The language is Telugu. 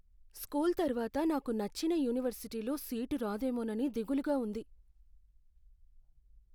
స్కూల్ తర్వాత నాకు నచ్చిన యూనివర్సిటీలో సీటు రాదేమోనని దిగులుగా ఉంది.